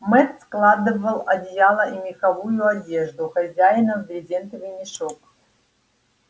мэтт складывал одеяла и меховую одежду хозяина в брезентовый мешок